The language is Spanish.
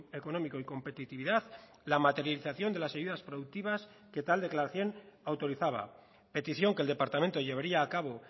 económico y competitividad la materialización de las ayudas productivas que tal declaración autorizaba petición que el departamento llevaría a cabo